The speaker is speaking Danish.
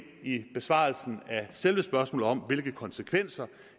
i besvarelsen af selve spørgsmålet om hvilke konsekvenser